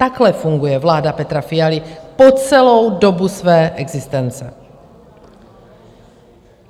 Takhle funguje vláda Petra Fialy po celou dobu své existence.